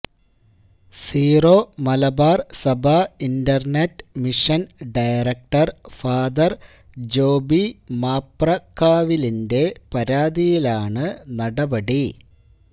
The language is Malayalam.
സീറോ മലബാർ സഭാ internet mission director father Joby മാപ്രക്കാവിലിന്റെ പരാതിയിലാണ് നടപടി